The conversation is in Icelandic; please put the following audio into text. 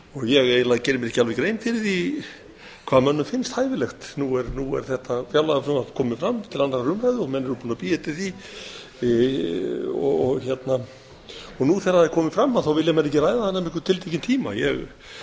ég eiginlega geri mér ekki alveg grein fyrir því hvað mönnum finnst hæfilegt nú er þetta fjárlagafrumvarp komið fram til annarrar umræðu og menn eru búnir að bíða eftir því og nú þegar það er komið fram þá vilja menn ekki ræða það nema einhvern tiltekinn tíma ég